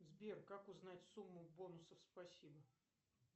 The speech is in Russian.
сбер как узнать сумму бонусов спасибо